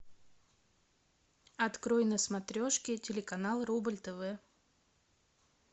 открой на смотрешке телеканал рубль тв